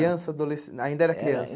Criança, adolesc, ainda era criança?